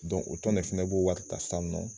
Dɔn o tɔn ne fɛnɛ b'o wari ta san nɔ